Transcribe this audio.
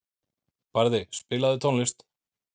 Barði, spilaðu tónlist.